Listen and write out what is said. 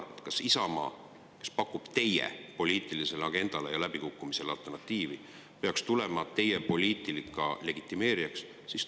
Kas Isamaa, kes pakub teie poliitilisele agendale ja läbikukkumisele alternatiivi, peaks tulema teie poliitika legitimeerijaks?